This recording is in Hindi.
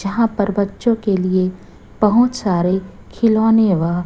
जहां पर बच्चों के लिए बहुत सारे खिलौने व--